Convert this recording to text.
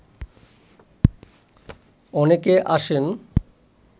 অনেকে আসেন